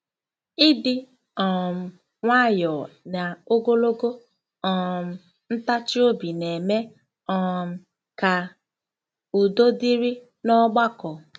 Ịdị um nwayọọ na ogologo um ntachi obi na-eme um ka udo dịrị n’ọgbakọ.